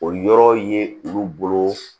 O yɔrɔ ye olu bolo